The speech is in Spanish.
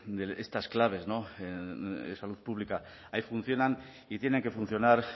de estas claves no en salud pública ahí funcionan y tienen que funcionar